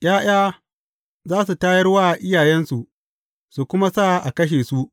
’Ya’ya za su tayar wa iyayensu, su kuma sa a kashe su.